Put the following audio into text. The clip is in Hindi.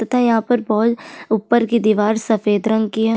तथा यहाँ पर बॉल ऊपर की दिवार सफ़ेद रंग की है।